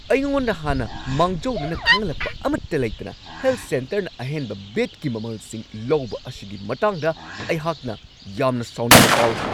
ꯑꯩꯉꯣꯟꯗ ꯍꯥꯟꯅ ꯃꯥꯡꯖꯧꯅꯅ ꯈꯪꯍꯜꯂꯛꯄ ꯑꯃꯠꯇ ꯂꯩꯇꯅ ꯍꯦꯜꯊ ꯁꯦꯟꯇꯔꯅ ꯑꯍꯦꯟꯕ ꯕꯦꯗꯀꯤ ꯃꯃꯜꯁꯤꯡ ꯂꯧꯕ ꯑꯁꯤꯒꯤ ꯃꯇꯥꯡꯗ ꯑꯩꯍꯥꯛꯅ ꯌꯥꯝꯅ ꯁꯥꯎꯅꯤꯡꯕ ꯐꯥꯎꯋꯤ ꯫